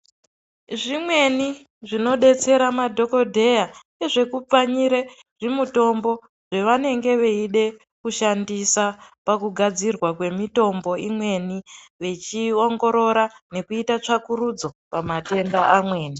Zvimweni zvinodetsera madhokodheya ngezvekupfanyire zvimutombo zvavanenge veide kushandisa pakugadzirwa kwemitombo imweni vechiiongorora nekuita tsvakurudzo pamatenda amweni .